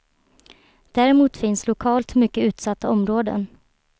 Däremot finns lokalt mycket utsatta områden.